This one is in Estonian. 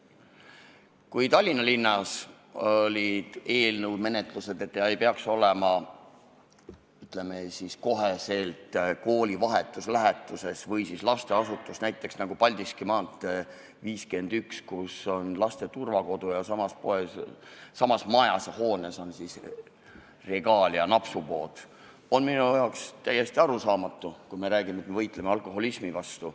Kui Tallinnas olid menetluses sellised eelnõud, et alkoholimüügipunkt ei peaks olema kooli või lasteasutuse vahetus läheduses, näiteks nagu Paldiski mnt 51, kus on laste turvakodu ja samas hoones on Regalia napsupood, siis on mulle täiesti arusaamatu, kui me räägime, et me võitleme alkoholismi vastu.